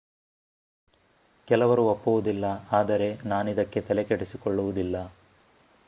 ಕೆಲವರು ಒಪ್ಪುವುದಿಲ್ಲ ಆದರೆ ನಾನಿದಕ್ಕೆ ತಲೆಕೆಡಿಸಿಕೊಳ್ಳುವುದಿಲ್ಲ